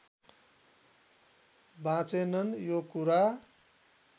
बाँचेनन् यो कुरा